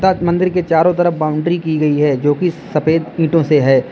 त मंदिर के चारों तरफ बाउंड्री की गई है जो की सफेद ईटों से है।